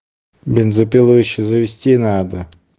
бензопилу ещё завести надо